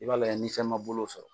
I b'a layɛ ni fɛn ma bolo u sɔrɔ.